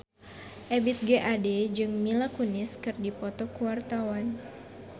Ebith G. Ade jeung Mila Kunis keur dipoto ku wartawan